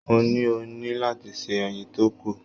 Mo ní, o ní láti se ẹyin tó kù.